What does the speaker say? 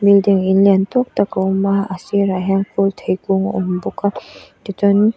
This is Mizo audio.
building in lian tawk tak a awm a a sirah hian kawlthei kung a awm bawk a tichuan--